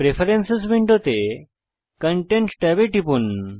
preference উইন্ডোতে content ট্যাবে টিপুন